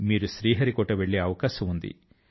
మీరు శ్రీహరికోట వెళ్ళే అవకాశం ఉంది